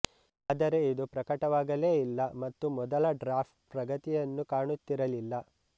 ಆದರೆ ಇದು ಪ್ರಕಟವಾಗಲೆ ಇಲ್ಲ ಮತ್ತು ಮೊದಲ ಡ್ರಾಫ್ಟ್ಪ್ರಗತಿಯನ್ನು ಕಾಣುತ್ತಿರಲಿಲ್ಲಲ